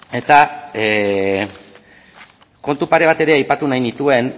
eta kontu pare bat ere aipatu nahi nituen